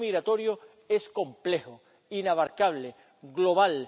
El hecho migratorio es complejo, inabarcable,